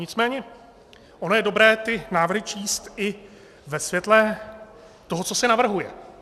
Nicméně ono je dobré ty návrhy číst i ve světle toho, co se navrhuje.